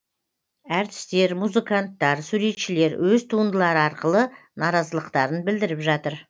әртістер музыканттар суретшілер өз туындылары арқылы наразылықтарын білдіріп жатыр